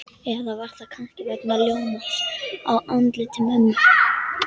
Eða var það kannski vegna ljómans á andliti mömmu?